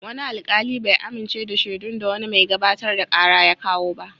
Wani alkali bai amince da shaidun da wani mai gabatar da kara ya kawo ba.